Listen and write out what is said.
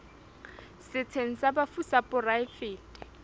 setsheng sa bafu sa poraefete